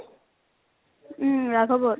উম । ৰাঘবত ।